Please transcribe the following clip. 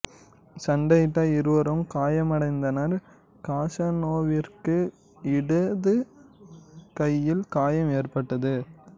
சண்டையிட்ட இருவரும் காயமடைந்தனர் காஸநோவாவிற்கு இடது கையில் காயம் ஏற்பட்டது